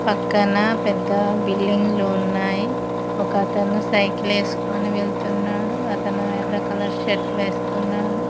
పక్కన పెద్ద బిల్డింగ్ లు ఉన్నాయి ఒక అతను సైకిల్ ఎసుకొని వెళ్తున్నాడు అతను ఎర్ర కలర్ షర్ట్ వేసుకున్నాడు.